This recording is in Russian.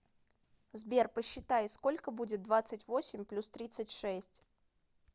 сбер посчитай сколько будет двадцать восемь плюс тридцать шесть